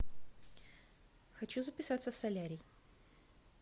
хочу записаться в солярий